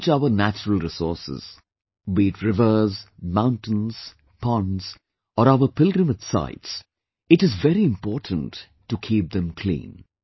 Be it our natural resources, be it rivers, mountains, ponds or our pilgrimage sites, it is very important to keep them clean